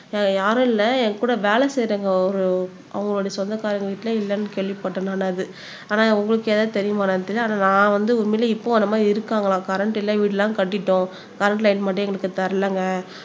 அஹ் யாரும் இல்ல என் கூட வேலை செய்யறவங்க ஒரு அவங்களுடைய சொந்தக்காரங்க வீட்டிலேயே இல்லன்னு கேள்விப்பட்டேன் நானு அது ஆனா உங்களுக்கு ஏதாவது தெரியுமா என்னன்னு தெரியல ஆனா நான் வந்து உண்மையிலேயே இப்போ அந்த மாதிரி இருக்காங்களாம் கரண்ட் இல்லை வீடு எல்லாம் கட்டிட்டோம் கரண்ட் லைன் மட்டும் எங்களுக்கு தரலைங்க